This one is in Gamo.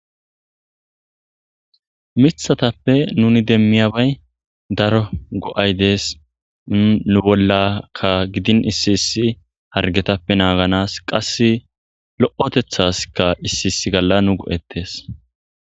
Mithatappe nuni demmiyabay daro go'ay dees nu bollaka gidin issi issi hargetappe naaganas qass lo'otethaskka issi iss galla nu go'ettes.